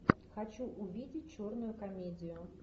хочу увидеть черную комедию